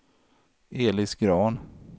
Elis Grahn